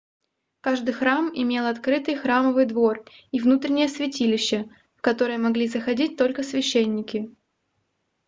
каждый храм имел открытый храмовый двор и внутреннее святилище в которое могли заходить только священники